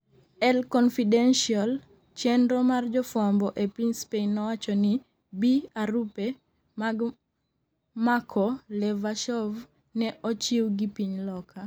El Confidencial, chenro mar jofwambo e piny Spain nowacho ni b arupe mag mako Levashov ne ochiw gi piny Loka